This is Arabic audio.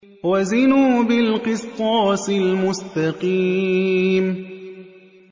وَزِنُوا بِالْقِسْطَاسِ الْمُسْتَقِيمِ